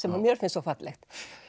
sem mér finnst svo fallegt